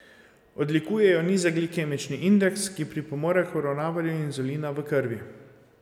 Odlikuje ju nizek glikemični indeks, ki pripomore k uravnavanju inzulina v krvi.